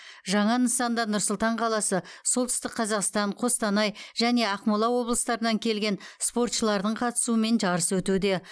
жаңа нысанда нұр сұлтан қаласы солтүстік қазақстан қостанай және ақмола облыстарынан келген спортшылардың қатысуымен жарыс өтуде